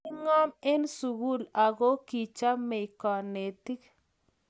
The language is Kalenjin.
kingom eng sukul ako kichamei kanetik